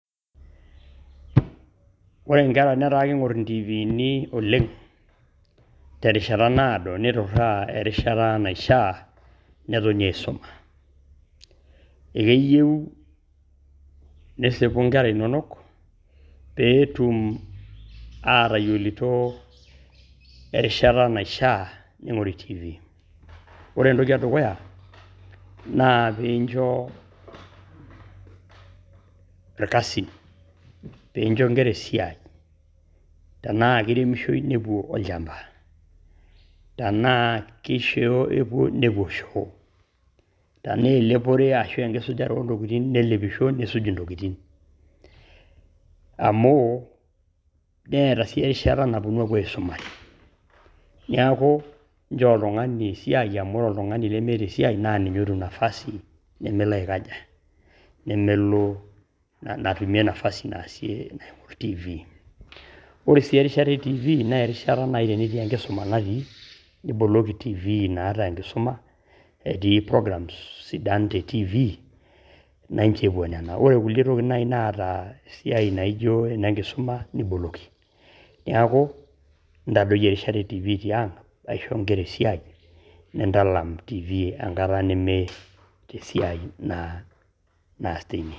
Ore nkera netaa ake kiing'or ntiivini oleng' terishata naado nituraa erishata naishaa netoni aisoma. Ee keyeu nisipu nkera inonok pee etum atayolito erishata naishaa ning'ori tiivi. Ore entoki e dukuya naa piincho irkasin, piincho nkera esiai, tena ake iremisho ninjo epuo olchamba tenaa keshoo epuo nepuo shoo, tenaa elepore ashuu enkisujare o ntokitin, nelepisho nisuj intokitin amu neeta sii erishata naponu aapuo aisomare. Neeku nchoo oltung'ani esia amu ore oltung'ani lemeeta esiai naa ninye otum nafasi nemelo aikaja nemelo, natumie nafasi naasie naing'or tiivi. Ore sii erishata e tiivi na erishata nai tenetii enkisuma natii niboloki tiivi naata enkisuma, etii programs naa sidan te tiivi naa incho epuo nana. Ore kulie tokitin nai naata esia naijo ene nkisuma niboloki. Neeku ntadoi erishata entivii tiang', aisho nkera esiai nintalam tiivi enkata nemeeta esiai naas tine.